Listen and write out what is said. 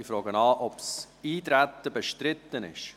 Ich frage, ob das Eintreten bestritten ist.